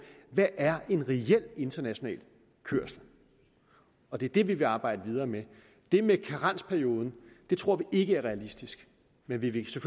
hvad er en reel international kørsel og det er det vi vil arbejde videre med det med karensperioden tror vi ikke er realistisk men vi vil